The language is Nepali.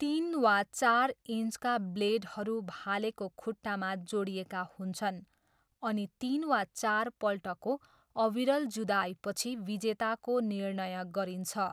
तिन वा चार इन्चका ब्लेडहरू भालेको खुट्टामा जोडिएका हुन्छन् अनि तिन वा चारपल्टको अविरल जुधाइपछि विजेताको निर्णय गरिन्छ।